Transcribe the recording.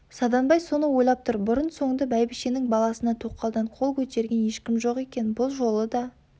саданбай соны ойлап тұр бұрын-соңды бәйбішенің баласына тоқалдан қол көтерген ешкім жоқ екен бұл жолы да